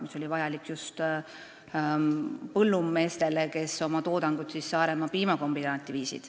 See on vajalik just põllumeestele, kes viivad oma toodangut Saaremaa piimakombinaati.